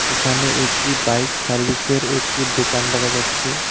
এখানে একটি বাইক সার্ভিসের একটি দোকান দেখা যাচ্ছে।